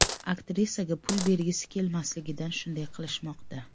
Aktrisaga pul bergisi kelmasligidan shunday qilishmoqda.